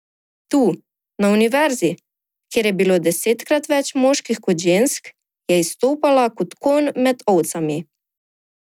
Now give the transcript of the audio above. Tu, na Univerzi, kjer je bilo desetkrat več moških kot žensk, je izstopala kot konj med ovcami.